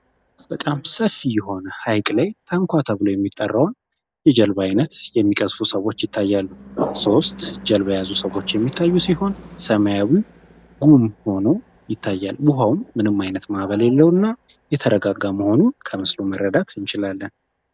በጣም ሰፊ የሆነ ሐይቅ ላይ ታንኳ ተብሎ የሚጠራውን የጀልብ ዓይነት የሚቀዝፉ ሰዎች ይታያሉ ሦስት ጀልባ የያዙ ሰዎች የሚታዩ ሲሆን ሰማያዊ ጉም ሆኖ ይታያል ቡሃውም ምንም ዓይነት መዕበል የሌለው እና የተረጋጋ መሆኑን ከምስሉ መረዳት ይምችላለን።